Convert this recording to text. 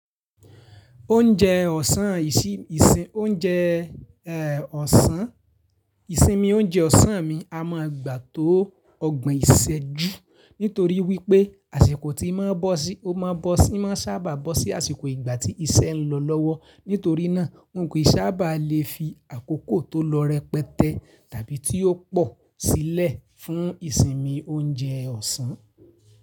Oúnjẹ ọ̀sán ìsinmi oúnjẹ ọ̀sán, ìsinmi oúnjẹ ọ̀sán mi a máa gbà tó ọgbọ̀n ìṣẹ́jú nítorí wípé àsìkò tí i máa bọ́ sí, ó máa bọ́ sí, máa sábà bọ́ sí àsìkò ìgbà tí iṣẹ́ ń lọ lọ́wọ́. Nítorí náà, nǹkan yìí sábà lè fi àkókò tó lọrẹ pẹtẹ tàbí tí ó pò sílẹ̀ fún ìsinmi oúnjẹ ọ̀sán.